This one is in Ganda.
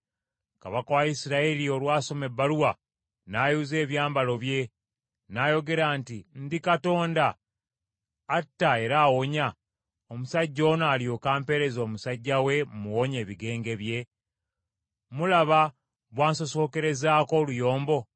Kabaka wa Isirayiri olwasoma ebbaluwa, n’ayuza ebyambalo bye, n’ayogera nti, “Ndi Katonda, atta era awonya, omusajja ono alyoke ampeereze omusajja we mmuwonye ebigenge bye? Mulaba bw’ansosonkerezaako oluyombo?”